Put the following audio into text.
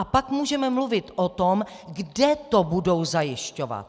A pak můžeme mluvit o tom, kde to budou zajišťovat.